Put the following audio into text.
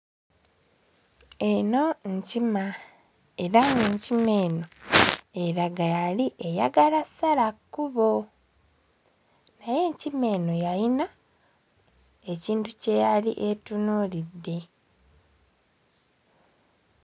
Eno nkima, era ng'enkima eno eraga yali eyagala ssala kkubo. Naye enkima eno yalina ekintu kye yali etunuulidde.